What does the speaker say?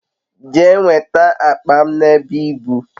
Jee nweta akpa m n'ebe ibu